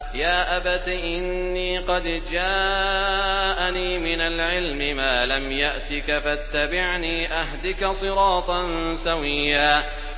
يَا أَبَتِ إِنِّي قَدْ جَاءَنِي مِنَ الْعِلْمِ مَا لَمْ يَأْتِكَ فَاتَّبِعْنِي أَهْدِكَ صِرَاطًا سَوِيًّا